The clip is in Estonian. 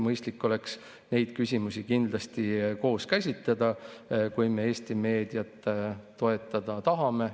Mõistlik oleks käsitleda neid küsimusi koos, kui me Eesti meediat toetada tahame.